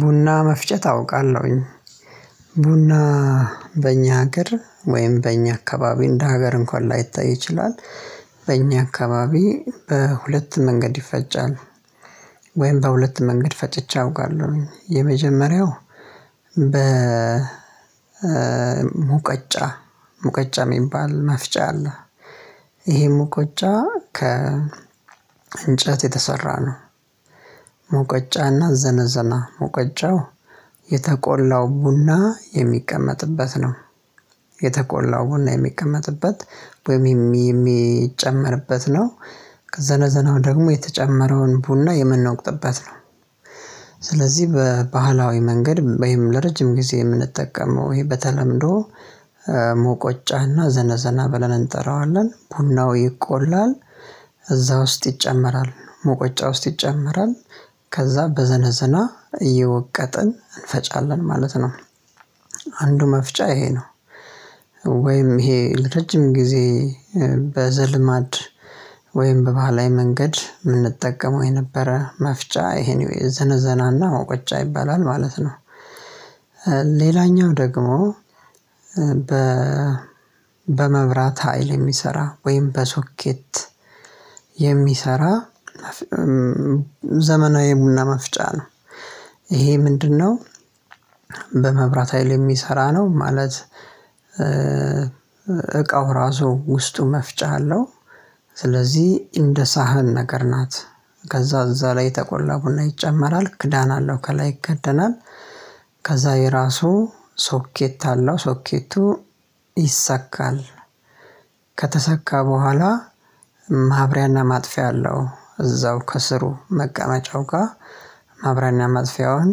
ቡና መፍጨት አውቃለሁኝ ቡና በእኛ ሀገር ወይም በእኛ አካባቢ እንደ ሀገር እንኳን ላይታይ ይችላል። በእኛ አካባቢ በሁለት መንገድ ይፈጫል። ወይም በሁለት መንገድ ፈጭቼ አውቃለሁኝ የመጀመሪያው በ ሙቀጫ ሙቀጫ የሚባል መፍጫ አለ። ይሄ ሙቀጫ ከ እንጨት የተሰራ ነው። ሙቀጫና ዘነዘና ሙቀጨው የተቆላው ቡና የሚቀመጥበት ነው። የተቆላው ቡና የሚቀመጥበት ወይም የሚጨመርበት ነው። ከዘነዘነው ደግሞ የተጨመረውን ቡና የምንወቅጥበት ነው። ስለዚህ በባህላዊ መንገድ ወይም ለረጅም ጊዜ የምንጠቀመው ወይ በተለምዶ። ሙቀጫና ዘነዘና ብለን እንጠራዋለን ቡናው ይቆላል። እዛ ውስጥ ይጨመራል ሙቀጫ ውስጥ ይጨመራል ከዛ በዘነዘና እየወቀጥን እንፈጫለን ማለት ነው። አንዱ መፍጫ ይሄ ነው። ወይም ይሄ ለረጅም ጊዜ በዘልማድ ወይም በባህላዊ መንገድ የምንጠቀመው የነበረ መፍጫ ይሄን ነው የዘነዘና እና መውቀጫ ይባላል ማለት ነው። ሌላኛው ደግሞ በመብራት ሀይል የሚሰራ ወይም በሶኬት የሚሰራ ዘመናዊ ቡና መፍጫ ነው። ይሄ ምንድንነው? በመብራት ሀይል የሚሰራ ነው ማለት። እቃው ራሱ ውስጡ መፍጫ አለው። ስለዚህ እንደ ሳህን ነገር ናት። ከዛ እዛ ላይ የተቆላ ቡና ይጨመራል ክዳን አለው ከላይ ይከደናል። ከዛ የራሱ ሶኬት አለው ሶኬቱ ይሰካል። ከተሰካ በኋላ ማብሪያና ማጥፊያ አለው እዛው ከስሩ መቀመጫው ጋ ማብሪያና ማጥፊያውን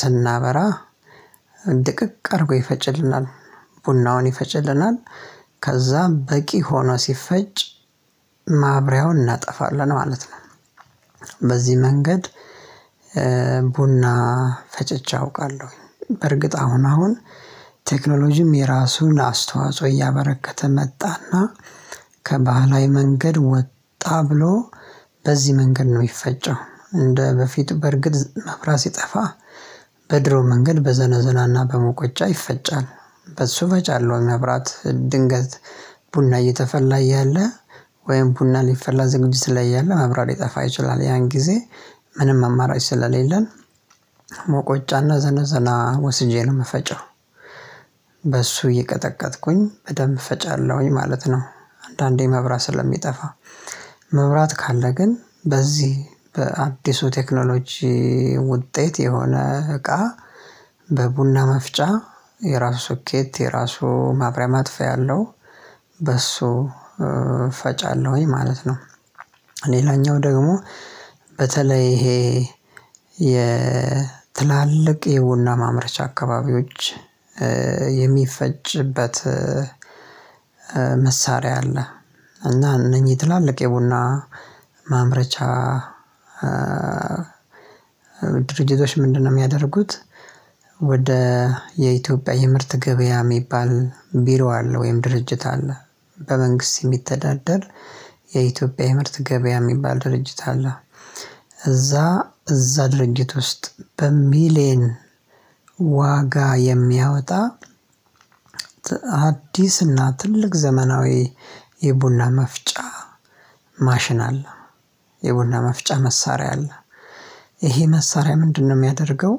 ስናበራ ድቅቅ አድርጎ ይፈጭልናል። ቡናውን ይፈጭልናል ከዛም በቂ ሆኖ ሲፈጭ ማብሪያውን እናጠፋለን ማለት ነው። በዚህ መንገድ ቡና ፈጭቼ አውቃለሁ። በርግጥ አሁን አሁን ቴክኖሎጂም የራሱን አስተዋጽኦ እያበረከተ መጣ እና ከባህላዊ መንገድ ወጣ ብሎ በዚህ መንገድ ነው የሚፈጨው እንደበፊቱ በርግጥ መብራት ሲጠፋ በድሮ መንገድ በዘነዘና እና በሙቀጫ ይፈጫል። በእሱ እፈጫለሁ መብራት ድንገት ቡና እየተፈላ እያለ ወይም ቡና ሊፈላ ዝግጅት ላይ እያለ መብራት ሊጠፋ ይችላል ያን ጊዜ ምንም አማራጭ ስለሌለን ሙቀጫና ዘነዘና ወስጄ ነው የምፈጨው። በሱ እየቀጠቀጥኩኝ በደንብ እፈጫለሁኝ ማለት ነው። አንዳንዴ መብራት ስለሚጠፋ መብራት ካለ ግን በዚህ በአዲሱ ቴክኖሎጂ ውጤት የሆነ እቃ በቡና መፍጫ የራሱ ሶኬት የራሱ ማብሪያ ማጥፋት ያለው በእሱ እፈጫለሁኝ ማለት ነው። ሌላኛው ደግሞ በተለይ ይሄ የትላልቅ የቡና ማምረቻ አካባቢዎች የሚፈጭበት መሳሪያ አለ። እና እነኚህ ትላልቅ የቡና ማምረቻ ድርጅቶች ምንድንነው የሚያደርጉት? ወደ የኢትዮጵያ የምርት ገበያ የሚባል ቢሮ አለ ወይም ድርጅት አለ። በመንግስት የሚተዳደር የኢትዮጵያ የምርት ገበያ የሚባል ድርጅት አለ። እዛ እዛ ድርጅት ውስጥ በሚሊዮን ዋጋ የሚያወጣ አዲስና ትልቅ ዘመናዊ የቡና መፍጫ ማሽን አለ። የቡና መፍጫ መሳሪያ አለ። ይሄ መሳሪያ ምንድንነው የሚያደርገው?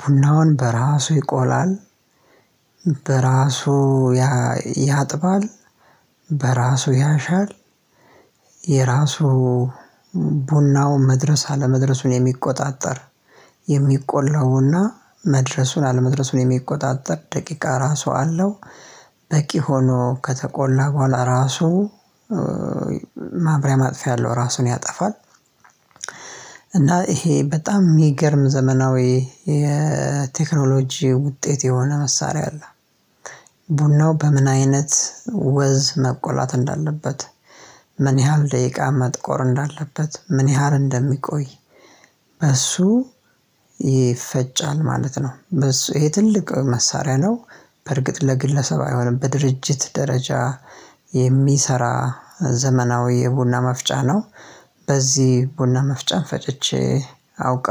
ቡናውን በራሱ ይቆላል በራሱ ያ ያጥባል። በራሱ ያሻል። የራሱ ቡናው መድረስ አለመድረሱን የሚቆጣጠር የሚቆላው ቡና መድረሱን አለመድረሱን የሚቆጣጠር ደቂቃ ራሱ አለው። በቂ ሆኖ ከተቆላ በኋላ ራሱ ማብሪያ ማጥፊያ አለው ራሱን ያጠፋል። እና ይሄ በጣም የሚገርም ዘመናዊ የቴክኖሎጂ ውጤት የሆነ መሳሪያ አለ። ቡናው በምን አይነት ወዝ መቆላት እንዳለበት ምን ያህል ደቂቃ መጥቆር እንዳለበት ምን ያህል እንደሚቆይ? በሱ ይፈጫል ማለት ነው በሱ ይሄ ትልቅ መሳሪያ ነው። በርግጥ ለግለሰብ አይሆንም በድርጅት ደረጃ የሚሰራ ዘመናዊ የቡና መፍጫ ነው። በዚህ ቡና መፍጫም ፈጭቼ አውቃለሁ